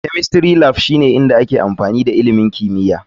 Chemistry Lab shine inda ake yin amfani da ilimin kimiyya.